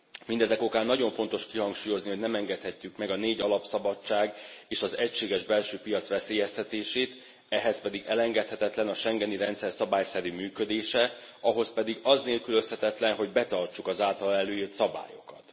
Mindezek okán nagyon fontos kihangsúlyozni, hogy nem engedhetjük meg a négy alapszabadság és az egységes belső piac veszélyeztetését, ehhez pedig elengedhetetlen a schengeni rendszer szabályszerű működése. Ahhoz pedig az nélkülözhetetlen, hogy betartsuk az általa előírt szabályokat.